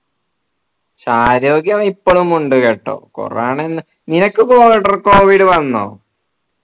ആരോഗ്യം ഇപ്പോളും ഉണ്ട് കേട്ടോ corona നിനക്ക് covid വന്നോ